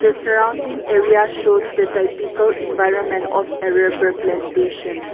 The surrounding area shows the typical environment of a rubber plantation.